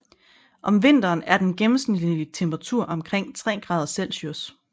Om vinteren er den gennemsnitlige temperatur omkring 3 grader Celsius